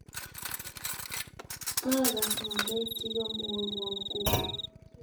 Kagaas ngalek chigemwowon kugo